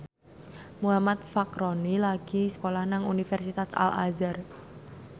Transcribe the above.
Muhammad Fachroni lagi sekolah nang Universitas Al Azhar